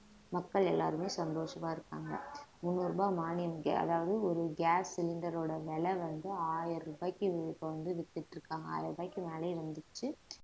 மக்கள் எல்லாருமே சந்தோஷமா இருக்காங்க முன்னூறு ரூபாய் மானியம் ga~ அதாவது ஒரு gas cylinder ஓட விலை வந்து ஆயிரம் ரூபாய்க்கு இப்ப வந்து வித்துட்டு இருக்காங்க ஆயிரம் ரூபாய்க்கு மேலயே வந்துச்சு